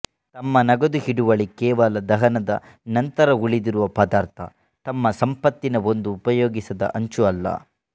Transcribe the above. ತಮ್ಮ ನಗದು ಹಿಡುವಳಿ ಕೇವಲ ದಹನದ ನಂತರ ಉಳಿದಿರುವ ಪದಾರ್ಥ ತಮ್ಮ ಸಂಪತ್ತಿನ ಒಂದು ಉಪಯೋಗಿಸದ ಅಂಚು ಅಲ್ಲ